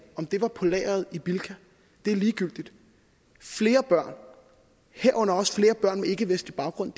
om det var på lageret i bilka er ligegyldigt flere børn herunder også flere børn med ikkevestlig baggrund